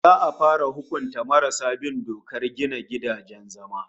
Za'a fara hukunta marasa bin dokar gina gidajen zama